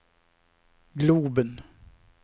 globen